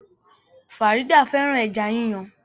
Farida fẹ́ràn ẹja yíyan